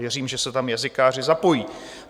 Věřím, že se tam jazykáři zapojí.